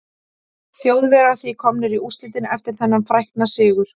Þjóðverjar því komnir í úrslitin eftir þennan frækna sigur.